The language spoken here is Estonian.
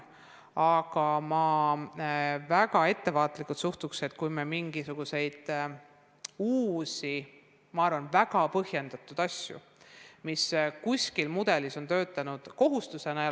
Aga ma suhtun väga ettevaatlikult uutesse, ma arvan, et isegi väga põhjendatud mudelitesse ja nendega pandavatesse kohustustesse.